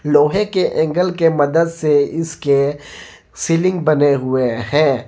लोहे के एंगल के मदद से इसके सीलिंग बने हुए हैं।